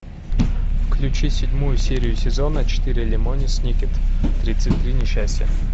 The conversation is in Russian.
включи седьмую серию сезона четыре лемони сникет тридцать три несчастья